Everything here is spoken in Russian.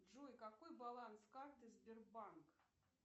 джой какой баланс карты сбербанк